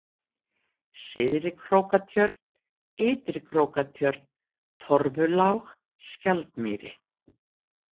Syðri-Krókatjörn, Ytri-Krókatjörn, Torfulág, Skjaldmýri